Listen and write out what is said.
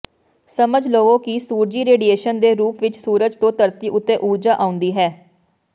ਸਮਝ ਲਵੋ ਕਿ ਸੂਰਜੀ ਰੇਡੀਏਸ਼ਨ ਦੇ ਰੂਪ ਵਿੱਚ ਸੂਰਜ ਤੋਂ ਧਰਤੀ ਉੱਤੇ ਊਰਜਾ ਆਉਂਦੀ ਹੈ